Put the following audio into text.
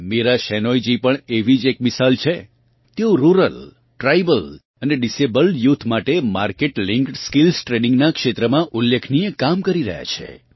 મીરા શેનોયજી પણ એવી જ એક મિસાલ છે તેઓ રુરલ ટ્રાયબલ અને ડિસેબલ્ડ યુથ માટે માર્કેટ લીંફૂડ સ્કિલ્સ ટ્રેઇનિંગનાં ક્ષેત્રમાં ઉલ્લેખનીય કામ કરી રહ્યાં છે